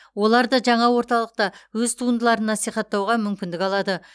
олар да жаңа орталықта өз туындыларын насихаттауға мүмкіндік алады